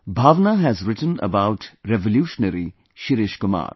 Bhavna has written about revolutionary Shirish Kumar